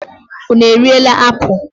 Unu erila apụl!